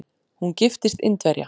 Hún giftist Indverja.